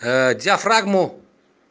диафрагму